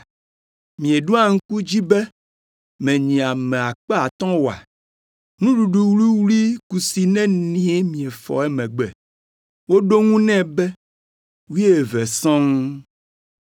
“Mieɖo ŋku edzi be menyi ame akpe atɔ̃ (5,000) oa? Nuɖuɖu wuwlui kusi neni miefɔ emegbe?” Woɖo eŋu nɛ be “Wuieve sɔŋ.”